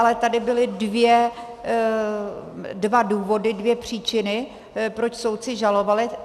Ale tady byly dva důvody, dvě příčiny, proč soudci žalovali.